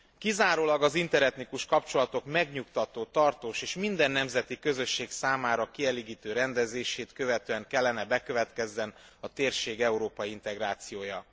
Kizárólag az interetnikus kapcsolatok megnyugtató, tartós és minden nemzeti közösség számára kielégítő rendezését követően kellene bekövetkezzen a térség európai integrációja.